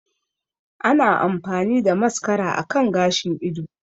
Ana amfani da mascara akan gashin ido